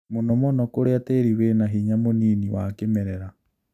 Mũno mũno kũria tĩri wĩna hinya mũnini wa kĩmerera